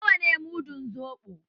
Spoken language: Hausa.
Na wa ne mudun soɓo?